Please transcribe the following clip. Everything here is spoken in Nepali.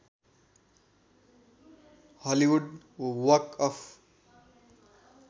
Hollywood walk of